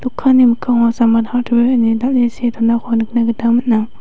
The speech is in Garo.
dokanni mikkango samad hartwer ine dal·e see donako nikna gita man·a.